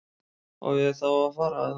Á ég þá að fara. eða?